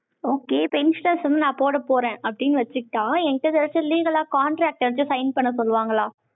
okay, friends வந்து நான் போடப் போறேன், அப்படின்னு வச்சுக்கிட்டா, என் கிட்ட ஏதாச்சும் legal ஆ, contractors ட்ட sign பண்ண சொல்லுவாங்களா?